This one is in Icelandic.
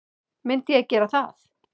Myndi ég gera það?